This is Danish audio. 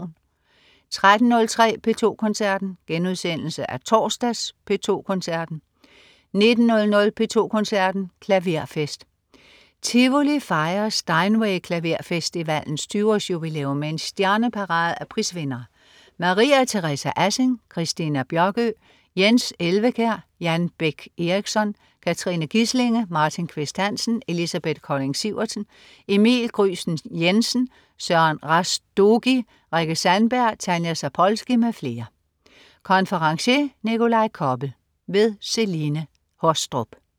13.03 P2 Koncerten. Genudsendelse af torsdags P2 Koncerten 19.00 P2 Koncerten. Klaverfest. Tivoli fejrer Steinway Klaverfestivalens 20-års-jubilæum med en stjerneparade af prisvindere: Maria Teresa Assing, Christina Bjørkøe, Jens Elvekjær, Jan Bech Eriksson, Katrine Gislinge, Martin Qvist Hansen, Elisabeth Colding Sivertsen, Emil Gryesten Jensen, Søren Rastogi, Rikke Sandberg, Tanja Zapolski m.fl. Konferencier: Nikolaj Koppel. Celine Haastrup